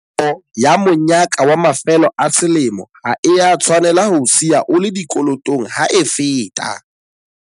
Nako ya monyaka wa mafelo a selemo ha e a tshwanela ho o siya o le dikolotong ha e feta.